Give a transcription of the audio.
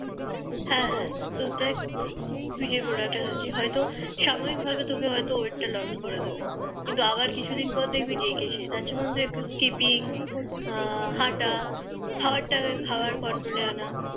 হ্যাঁ তো দেখ তুই যে Product টা খাচ্ছিস হয়তো সামূহিক ভাবে তোকে হয়তো wait টা লস করে দেবে কিন্তু আবার কিছু দিন পর দেখবি যেই কে সেই তার থেকে যেমন ধর একটু শিপিং হাঁটা খাবার টা খাবার Control আনা